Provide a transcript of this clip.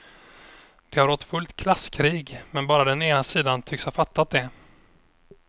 Det har rått fullt klasskrig, men bara den ena sidan tycks ha fattat det.